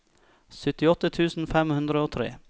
syttiåtte tusen fem hundre og tre